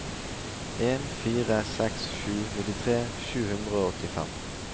en fire seks sju nittitre sju hundre og åttifem